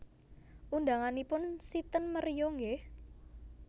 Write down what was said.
Undanganipun si ten Meruya nggih